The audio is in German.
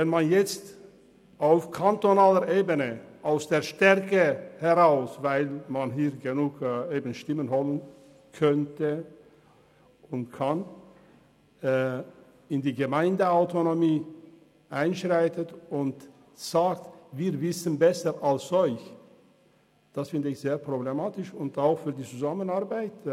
Wenn man nun auf kantonaler Ebene, da man hier genug Stimmen hat, in die Gemeindeautonomie einschreitet und sich anmasst, es besser als die Gemeinde zu wissen, halte ich das für sehr problematisch.